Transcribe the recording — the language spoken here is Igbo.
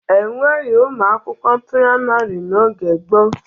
E nweghi ụmụ akwụkwọ praịmarị n'oge gboo.